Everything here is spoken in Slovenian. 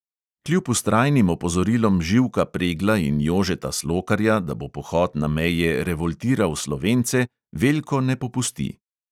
Kljub vztrajnim opozorilom živka pregla in jožeta slokarja, da bo pohod na meje revoltiral slovence, veljko ne popusti.